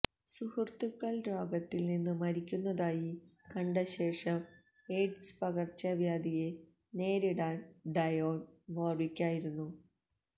സുഹൃത്തുക്കൾ രോഗത്തിൽ നിന്ന് മരിക്കുന്നതായി കണ്ട ശേഷം എയ്ഡ്സ് പകർച്ചവ്യാധിയെ നേരിടാൻ ഡയോൺ വോർവിക്കായിരുന്നു